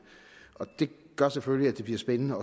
det gør selvfølgelig at det bliver spændende